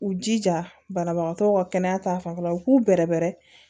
U jija banabagatɔw ka kɛnɛya ta fanfɛla u k'u bɛrɛbɛrɛ